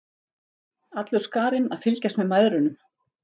Allur skarinn að fylgjast með mæðrunum.